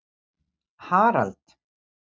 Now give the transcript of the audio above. Harald